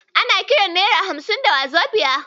Ana kiran nera hamsin da wazobiya.